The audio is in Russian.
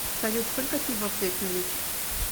салют сколько пива взять на вечер